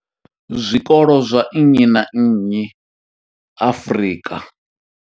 Zwikolo zwa nnyi na nnyi Afrika.